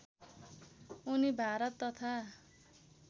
उनी भारत तथा